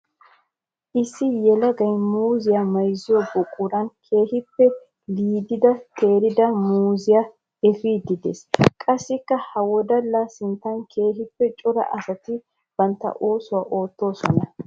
Issi yelagay muuzziya bayzziyo buquran keehippe liididdi teeridda muuzziya efiide de'ees. Qassikka ha wodalla sinttan keehippe cora asatti bantta oosuwa oottosonna.